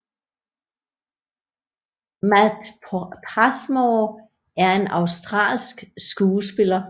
Matt Passmore er en australsk skuespiller